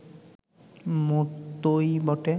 মতোই বটে